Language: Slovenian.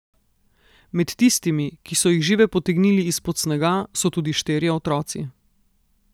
Med tistimi, ki so jih žive potegnili izpod snega, so tudi štirje otroci.